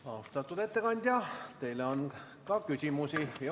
Austatud ettekandja, teile on ka küsimusi.